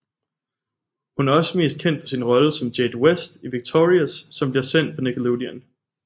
Hun er også meget kendt for sin rolle som Jade West i Victorious som bliver sendt på Nickelodeon